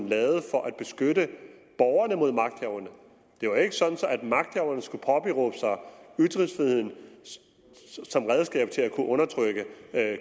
lavet for at beskytte borgerne mod magthaverne det var ikke sådan at magthaverne skulle påberåbe sig ytringsfriheden som redskab til at kunne undertrykke